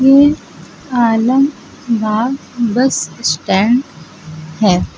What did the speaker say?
ये Alambagh bus stand है।